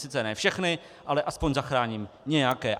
Sice ne všechny, ale aspoň zachráním nějaké.